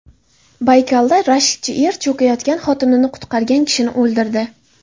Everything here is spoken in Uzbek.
Baykalda rashkchi er cho‘kayotgan xotinini qutqargan kishini o‘ldirdi.